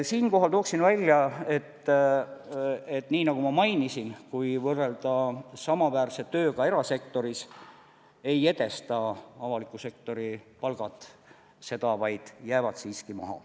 Siinkohal tooksin välja, nii nagu ma juba mainisin, et kui võrrelda samaväärse tööga erasektoris, siis ei edesta avaliku sektori palgad erasektori omi, vaid jäävad siiski maha.